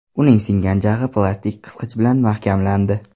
Uning singgan jag‘i plastik qisqich bilan mahkamlandi.